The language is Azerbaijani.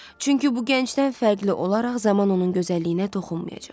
Çünki bu gəncdən fərqli olaraq zaman onun gözəlliyinə toxunmayacaq.